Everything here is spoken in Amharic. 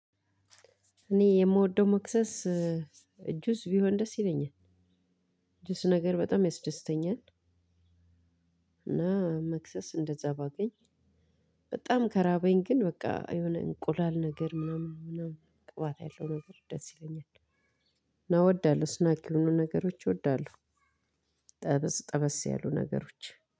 እኔ የምወደው መክሰስ ጁስ ቢሆን ደስ ይለኛል ጁስ ነገር በጣም ያስደስተኛል። እና መክሰስ እንደዛ ባገኝ በጣም ከራበኝ ግን በቃ የሆነ እንቁላል ነገር ምናምን ምናምን ቅባት ያለው ነገር ደስ ይለኛል። እና እወዳለሁ ስናክ የሆኑ ነገሮች እወዳለሁ። ጠበስ ጠበስ ያሉ ነገሮች